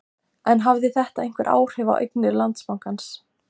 En hafði þetta einhver áhrif á eignir Landsbankans?